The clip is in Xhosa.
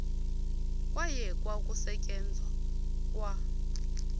kwayekwa ukusetyenzwa kwa